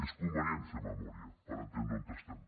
és convenient fer memòria per entendre on estem